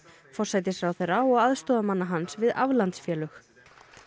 forsætisráðherra og aðstoðarmanna hans við aflandsfélög